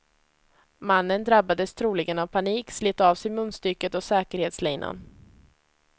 Mannen drabbades troligen av panik, slet av sig munstycket och säkerhetslinan.